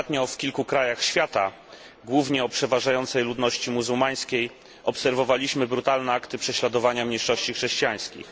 Ostatnio w kilku krajach świata, głównie o przeważającej ludności muzułmańskiej, obserwowaliśmy brutalne akty prześladowania mniejszości chrześcijańskich.